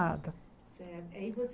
Eh aí você você